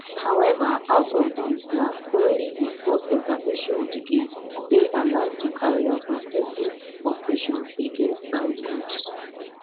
however out of these na only di force intervention brigade dey allowed to carry out offensive operations against armed groups